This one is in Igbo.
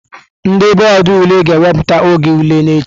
Ndị bọọdụ ule ga-ewepụta oge ule n'echi.